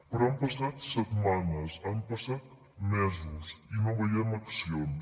però han passat setmanes han passat mesos i no veiem accions